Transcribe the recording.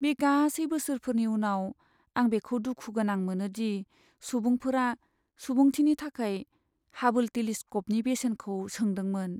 बे गासै बोसोरफोरनि उनाव, आं बेखौ दुखु गोनां मोनो दि सुबुंफोरा सुबुंथिनि थाखाय हाबोल टेलिस्क'पनि बेसेनखौ सोंदोंमोन।